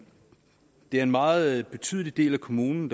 har en meget betydelig del af kommunen